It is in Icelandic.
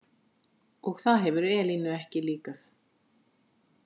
Og það hefur Elínu ekki líkað?